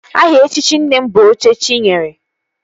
Aha echichi nne m bụ Oche chi nyere